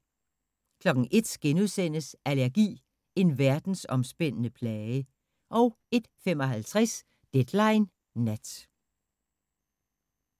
01:00: Allergi – en verdensomspændende plage * 01:55: Deadline Nat